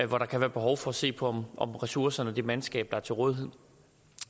hvor der kan være behov for at se på om ressourcerne og det mandskab der er til rådighed